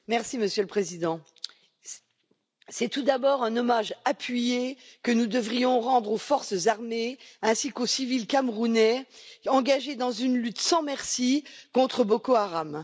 Monsieur le Président, c'est tout d'abord un hommage appuyé que nous devrions rendre aux forces armées, ainsi qu'aux civils camerounais engagés dans une lutte sans merci contre Boko Haram,.